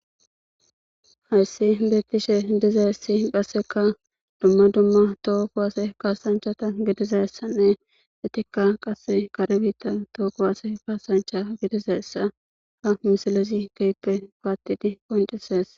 Hayssi beettishe dizay essi qhasseka dumma dumma tookowaase kaasanchata gidiza essanne etikka qasse karebita tookowase kaasancha gidizaessa ha misailezi geyppe paattidi qoncises.